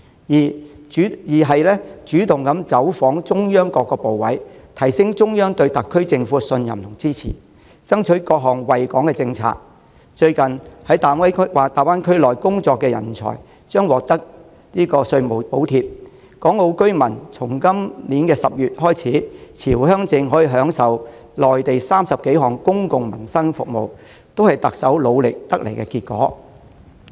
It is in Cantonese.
二、主動走訪中央各部委，提升中央對特區政府的信任和支持，爭取各項惠港政策：在大灣區內工作的人才將獲稅務補貼；由今年10月起，港澳居民持回鄉證可享用內地30多項公共民生服務，這些都是特首努力得來的成果。